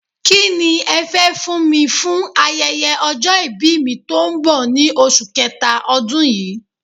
Kí ni ẹ fẹ́ fún mi fún ayẹyẹ ọjọ́ ìbí mi tó ń bọ̀ ní oṣù kẹta ọdún yí?